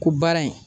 Ko baara in